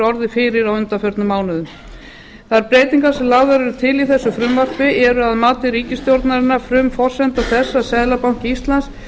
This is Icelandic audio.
orðið fyrir á undanförnum mánuðum þær breytingar sem lagðar eru til í þessu frumvarpi eru að mati ríkisstjórnarinnar frumforsenda þess að seðlabanki íslands